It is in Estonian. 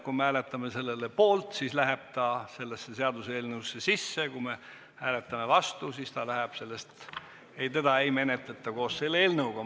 Kui me hääletame selle poolt, siis läheb ta sellesse seaduseelnõusse, kui me hääletame vastu, siis teda ei menetleta koos selle eelnõuga.